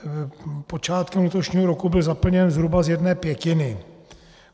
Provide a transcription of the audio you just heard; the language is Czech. Počátkem letošního roku byl zaplněn zhruba z jedné pětiny.